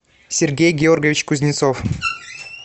сергей георгиевич кузнецов